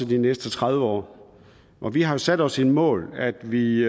de næste tredive år og vi har sat os det mål at vi